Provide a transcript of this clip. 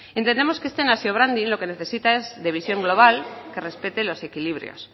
entendemos que este nation branding lo que necesita es de visión global que respete los equilibrios